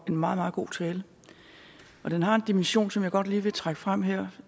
en meget meget god tale den har en dimension som jeg godt lige vil trække frem her